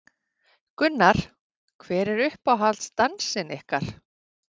Gunnar: Hver er uppáhalds dansinn ykkar?